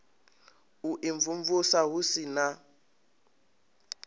u imvumvusa hu si na